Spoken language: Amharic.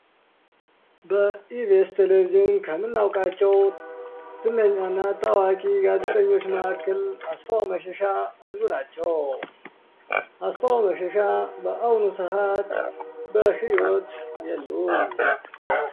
በኢቤስ ቴሌቪዥን ከምናውቃቸው ታዋቂ እና ዝነኛ ጋዜጠኞች መካከል አስፋው መሸሻ አንዱ ናቸው። አስፋው መሸሻ በአሁኑ ሰአት በህይወት የሉም።